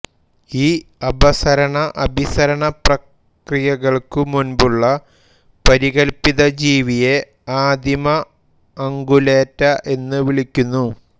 ഈ അപസരണഅഭിസരണ പ്രക്രിയകൾക്കു മുൻപുള്ള പരികല്പിതജീവിയെ ആദിമ അംഗുലേറ്റ എന്നു വിളിക്കുന്നു